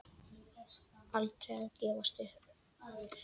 Aldrei að gefast upp.